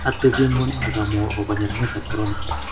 atebie ng'ony akamwou akobo nyeranetab korona